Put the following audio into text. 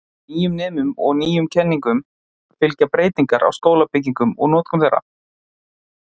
Nýjum nemum og nýjum kenningum fylgja breytingar á skólabyggingum og notkun þeirra.